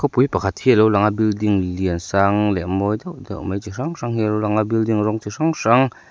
khawpui pakhat hi a lo lang a building lian sang leh mawi deuh deuh mai chi hrang hrang hi a lo lang a building rawng chi hrang hrang--